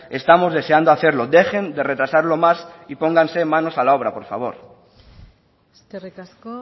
estamos deseando hacerlo dejen de retrasarlo más y pónganse manos a la obra por favor eskerrik asko